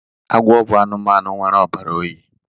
Agwọ bụ anụmanụ nwere ọbara oyi